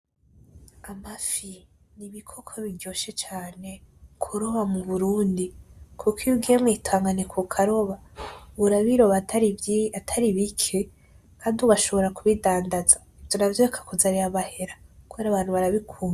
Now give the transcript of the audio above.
Amafi , inkoko biryoshe cane kuroba muburundi kuko iyo ugiye mw'Itanganyika ukaroba , urabiroba atari bike kandi ugashobora kubidandaza navyo bikakuzanira amahera kuko abantu barabikunda